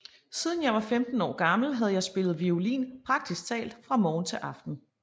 Siden jeg var 15 år gammel havde jeg spillet violin praktisk talt fra morgen til aften